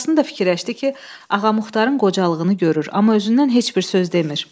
Burasını da fikirləşdi ki, Ağamuxatarın qocalığını görür, amma özündən heç bir söz demir.